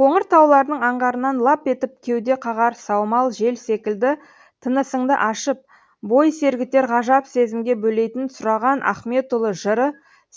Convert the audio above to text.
қоңыр таулардың аңғарынан лап етіп кеуде қағар саумал жел секілді тынысыңды ашып бой сергітер ғажап сезімге бөлейтін сұраған ахметұлы жыры